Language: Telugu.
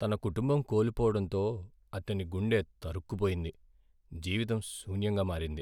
తన కుటుంబం కోల్పోవడంతో, అతని గుండె తరుక్కుపోయింది, జీవితం శూన్యంగా మారింది.